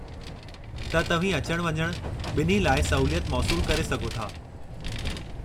त तव्हीं अचण-वञण, ॿिन्ही लाइ सहूलियत मौसूलु करे सघो था।